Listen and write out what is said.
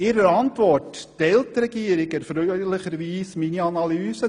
In ihrer Antwort teilt die Regierung erfreulicherweise meine Analyse.